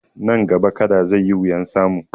Nan gaba Kada zai yi wuyan samu